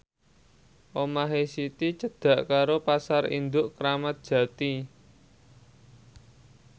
omahe Siti cedhak karo Pasar Induk Kramat Jati